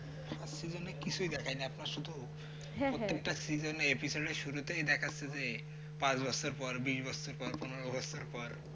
first seasons কিছুই দেখায় না আপনার শুধু প্রত্যেকটা seasons এর শুরুতে দেখাচ্ছে যে পাঁচ বছর পর কুড়ি বছর পর পনেরো বছর পর